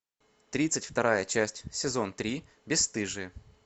тридцать вторая часть сезон три бесстыжие